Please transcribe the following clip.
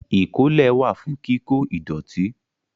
Ìkólẹ̀ wà fún kíkó ìdọ̀tí